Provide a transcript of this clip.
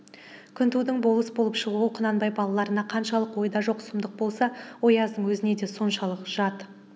күнтудың болыс болып шығуы құнанбай балаларына қаншалық ойда жоқ сұмдық болса ояздың өзіне де соншалық жат